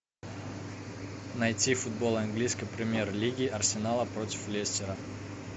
найти футбол английской премьер лиги арсенала против лестера